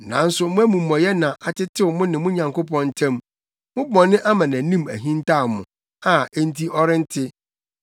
Nanso mo amumɔyɛ na atetew mo ne mo Nyankopɔn ntam; mo bɔne ama nʼanim ahintaw mo, a enti ɔrente.